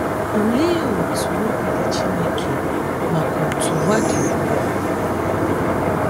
Olee otú obi dị Chineke maka otú ụwa dị ugbu a?